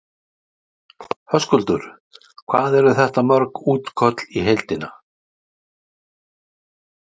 Höskuldur: Hvað eru þetta mörg útköll í heildina?